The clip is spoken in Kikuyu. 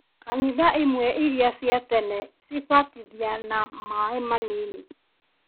Kanitha imwe iria cia tene cibatithia na maaĩ manini